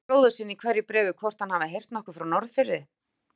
Spyr bróður sinn í hverju bréfi hvort hann hafi heyrt nokkuð frá Norðfirði.